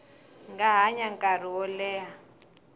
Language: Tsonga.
nga hanya nkarhi wo leha